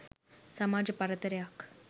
සමාජ පරතරයක්